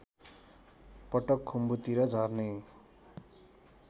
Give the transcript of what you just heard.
पटक खुम्बुतिर झर्ने